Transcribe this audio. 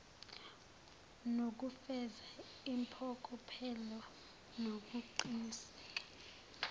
nokufeza impokophelelo nokuqiniseka